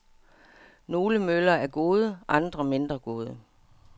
Nogle møller er gode, andre mindre gode.